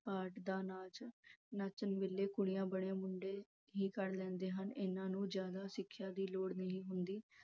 part ਦਾ ਨਾਚ ਨੱਚਣ ਵੇਲੇ ਕੁੜੀਆਂ ਬਣੇ ਮੁੰਡੇ ਹੀ ਕਰ ਲੈਂਦੇ ਹਨ ਇਹਨਾਂ ਨੂੰ ਜਿਆਦਾ ਸਿੱਖਿਆ ਦੀ ਲੋੜ ਦੀ ਨਹੀਂ ਹੁੰਦੀ